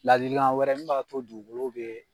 Ladilikan wɛrɛ min b'a to dugukolo bɛ